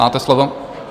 Máte slovo.